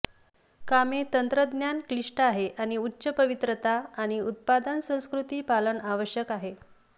कामे तंत्रज्ञान क्लिष्ट आहे आणि उच्च पवित्रता आणि उत्पादन संस्कृती पालन आवश्यक आहे